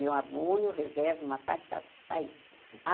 Meu abono, eu reservo uma parte para para isso. A